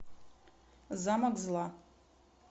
замок зла